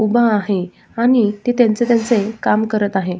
उभा आहे आणि ते त्यांचे त्यांचे काम करत आहे.